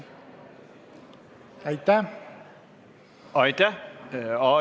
Aitäh!